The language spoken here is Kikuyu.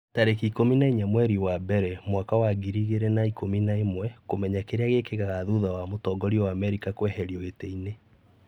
tarĩki ikũmi na inya mweri wa mbere mwaka wa ngiri igĩrĩ na ikũmi na ĩmweKũmenya kĩrĩa gĩkĩkaga thutha wa mũtongoria wa Amerika kũeherio gĩtĩ-inĩ